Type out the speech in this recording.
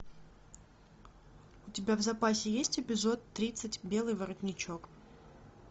у тебя в запасе есть эпизод тридцать белый воротничок